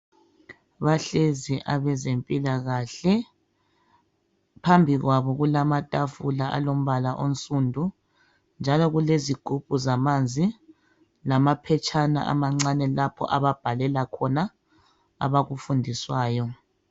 Bahlezi abezempilakahle. Phambi kwabo kulamatafula alombala onsundu njalo kulezigubhu zamanzi, lamaphetshana amancane lapho ababhalela khona abakufundiswayo.